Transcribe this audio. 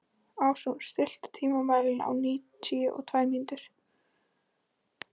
Ásrún, stilltu tímamælinn á níutíu og tvær mínútur.